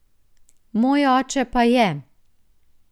Moj oče pa je.